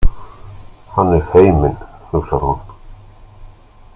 Hann er feiminn, hugsar hún.